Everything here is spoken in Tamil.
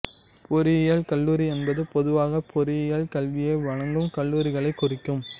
பொறியியல் கல்லூரி என்பது பொதுவாகப் பொறியியல் கல்வியை வழங்கும் கல்லூரிகளைக் குறிக்கும்